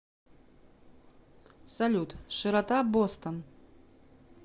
салют широта бостон